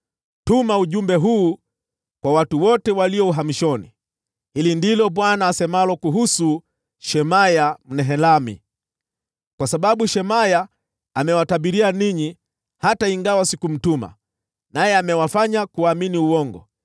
“Tuma ujumbe huu kwa watu wote walio uhamishoni: ‘Hili ndilo Bwana asemalo kuhusu Shemaya Mnehelami: Kwa sababu Shemaya amewatabiria ninyi, hata ingawa sikumtuma, naye amewafanya kuamini uongo,